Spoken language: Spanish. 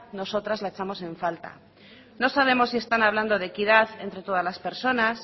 nosotras la echamos en falta no sabemos si están hablando de equidad entre todas las personas